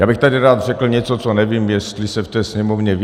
Já bych tady rád řekl něco, co nevím, jestli se v té Sněmovně ví.